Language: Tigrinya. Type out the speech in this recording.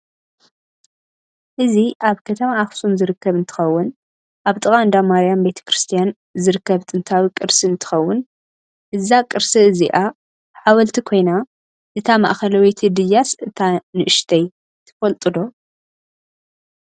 እዚ ኣብ ከተማ ኣክስም ዝርከብ እንትከውን ኣብ ጥቃ እዳማርያም ቤተክርስትያን ዝርከብ ጥንታዊ ቅርስእ እትከውን እዛ ቅርስ እዝኣ ሓወልቲ ኮይ ና እታ ማእከላወቲ ድያስ እታ ንእሽተይ ትፍልጥዶ?